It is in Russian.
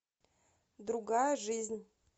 другая жизнь